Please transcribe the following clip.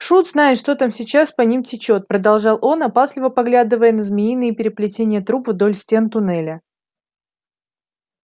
шут знает что там сейчас по ним течёт продолжал он опасливо поглядывая на змеиные переплетения труб вдоль стен туннеля